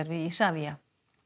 við Isavia